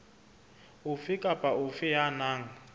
ofe kapa ofe ya nang